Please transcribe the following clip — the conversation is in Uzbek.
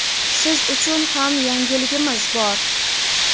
siz uchun ham yangiligimiz bor!.